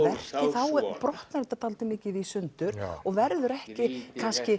þá brotnar þetta dálítið mikið í sundur og verður kannski ekki